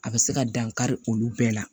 A bɛ se ka dan kari olu bɛɛ la